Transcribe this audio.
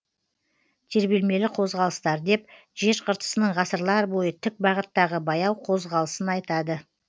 тербелмелі қозғалыстар деп жер қыртысының ғасырлар бойы тік бағыттағы баяу қозғалысын айтады